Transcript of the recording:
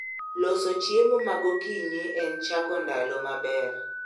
Loso chiemo magokinyi en chako ndalo maber